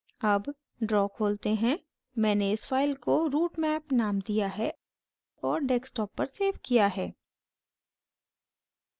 अब draw खोलते हैं मैंने इस file को routemap named दिया है और desktop पर सेव किया है